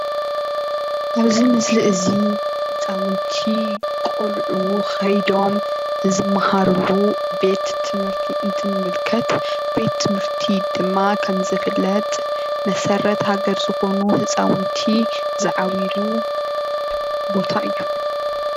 እዚ ምስሊ እዚ ህፃውንቲ ቆልዑ ከይዶም ዝመሃርሉ ቤት ትምህርቲ እንትንምልከት ቤት ትምህርቲ ድማ ከም ዝፍለጥ መሰረት ሃገር ዝኾኑ ህፃውንቲ ዝዓብይሉ ቦታ እዩ።